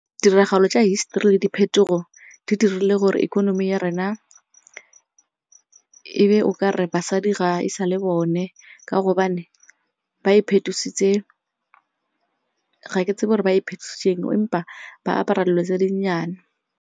Tiragalo tsa history le diphetogo di dirile gore economy ya rona e be o kare basadi ga e sa le bone ka gobane ba iphetositse ga ke tsebe gore ba iphetositse eng empa ba apara dilo tse di nnyane.